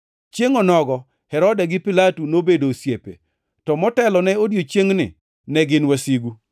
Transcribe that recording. Chiengʼ onogo, Herode gi Pilato nobedo osiepe, to motelone odiechiengni ne gin wasigu.